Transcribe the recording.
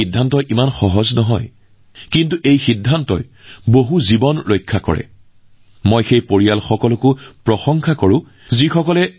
এই সিদ্ধান্ত সহজ নহয় যদিও এই সিদ্ধান্তই বহুতৰে জীৱন ৰক্ষা কৰিবলৈ গৈ আছে